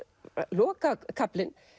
lokakaflinn